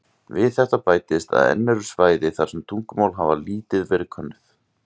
Við þetta bætist að enn eru svæði þar sem tungumál hafa lítið verið könnuð.